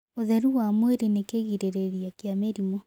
Ũtherũ wa mwĩrĩ nĩ kĩgĩrĩrĩrĩa kĩa mĩrĩmũ